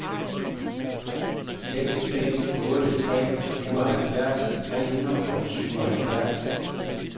seks fem otte tre syvoghalvfjerds tre hundrede og syvoghalvfjerds